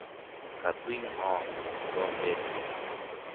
Katui ng'o kikombet nyu ?